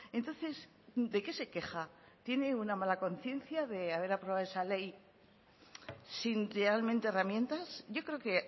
entonces de qué se queja tiene una mala conciencia de haber aprobado esa ley si realmente herramientas yo creo que